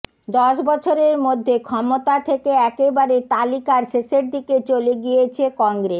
দশ বছরের মধ্যে ক্ষমতা থেকে একেবারে তালিকার শেষের দিকে চলে গিয়েছে কংগ্রেস